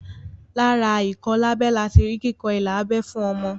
Lára ìkọlábẹ lati rí kíkọ ilà abẹ́ fún ọmọ